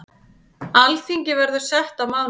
Alþingi verður sett á mánudag.